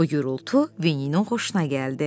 Bu gurultu Vininin xoşuna gəldi.